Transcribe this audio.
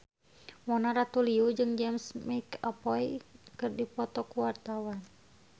Mona Ratuliu jeung James McAvoy keur dipoto ku wartawan